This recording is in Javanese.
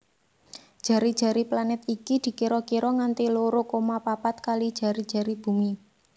Jari jari planet iki dikira kira nganti loro koma papat kali jari jari Bumi